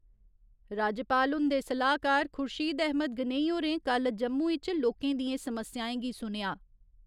राज्यपाल हुन्दे सलाह्‌कार खुर्शीद अहमद गनेई होरें कल्ल जम्मू इच लोकें दियें समस्याएं गी सुनेआ।